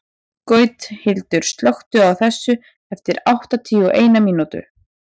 Gauthildur, slökktu á þessu eftir áttatíu og eina mínútur.